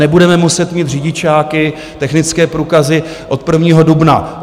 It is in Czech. Nebudeme muset mít řidičáky, technické průkazy od 1. dubna.